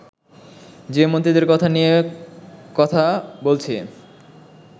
যে মন্ত্রীদের কথা নিয়ে কথা বলছি